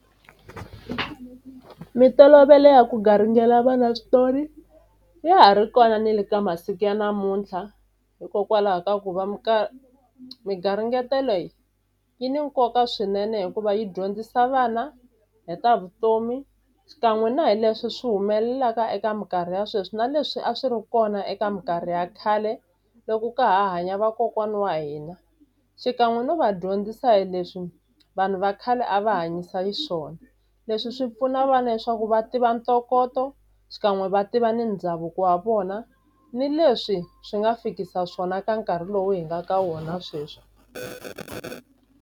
Mintolovelo ya ku garingela vana switori ya ha ri kona ni le ka masiku ya namuntlha hikokwalaho ka ku va mi garingeto leyi yi ni nkoka swinene hikuva yi dyondzisa vana hi ta vutomi xikan'we na hi leswi swi humelelaka eka minkarhi ya sweswi na leswi a swi ri kona eka minkarhi ya khale loko ka ha hanya vakokwani wa hina xikan'we no va dyondzisa hi leswi vanhu va khale a va hanyisa yi swona leswi swi pfuna vana leswaku va tiva ntokoto xikan'we va tiva ni ndhavuko wa vona ni leswi swi nga fikisa swona ka nkarhi lowu hi nga ka wona sweswi.